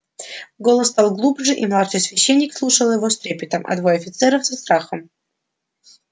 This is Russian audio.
голос стал глубже и младший священник слушал его с трепетом а двое офицеров со страхом